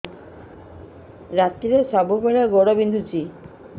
ରାତିରେ ସବୁବେଳେ ଗୋଡ ବିନ୍ଧୁଛି